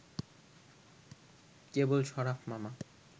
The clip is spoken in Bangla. কেবল শরাফ মামা